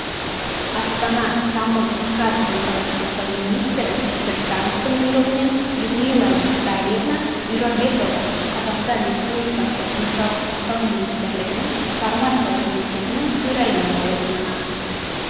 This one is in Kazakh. астана тамыз қаз денсаулық сақтау министрі біртановтың бұйрығымен людмила витальевна бюрабекова қазақстан республикасы денсаулық сақтау министрлігінің фармация комитетінің төрайымы лауазымына